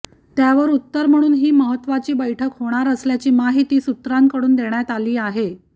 त्यावर उत्तर म्हणून ही महत्त्वाची बैठक होणार असल्याची माहिती सूत्रांकडून देण्यात आली आहे